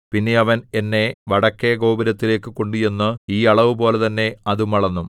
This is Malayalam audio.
പിന്നെ അവൻ എന്നെ വടക്കെ ഗോപുരത്തിലേക്കു കൊണ്ടുചെന്ന് ഈ അളവുപോലെ തന്നെ അതും അളന്നു